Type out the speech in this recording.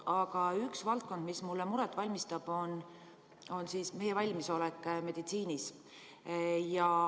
Aga üks valdkond, mis mulle muret valmistab, on meie valmisolek meditsiinis.